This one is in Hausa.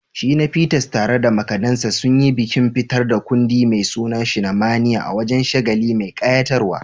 Shina Peters, tare da makadansa, sun yi bikin fitar da kundi mai suna "Shinamania" a wani shagali mai kayatarwa.